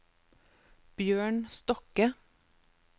Bjørn Stokke